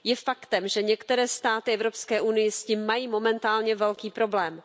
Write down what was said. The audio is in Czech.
Je faktem, že některé státy v Evropské unii s tím mají momentálně velký problém.